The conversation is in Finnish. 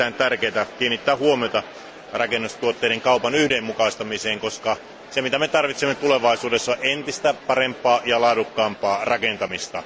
On erittäin tärkeätä kiinnittää huomiota rakennustuotteiden kaupan yhdenmukaistamiseen, koska tarvitsemme tulevaisuudessa entistä parempaa ja laadukkaampaa rakentamista.